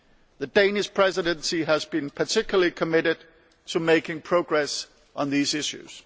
The Danish Presidency has been particularly committed to making progress on these issues.